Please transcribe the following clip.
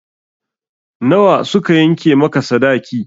Na wa suka yanke maka sadaki?